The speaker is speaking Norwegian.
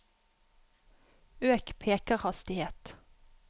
øk pekerhastighet